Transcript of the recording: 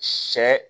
Sɛ